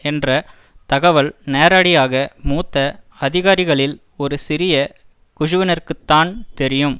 என்ற தகவல் நேரடியாக மூத்த அதிகாரிகளில் ஒரு சிறிய குழுவினருக்குத்தான் தெரியும்